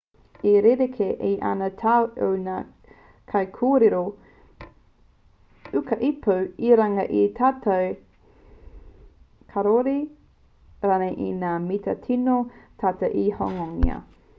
e rerekē ana te tau o ngā kaikōrero ūkaipō i runga i te tatau kāore rānei i ngā mita tino tata te hononga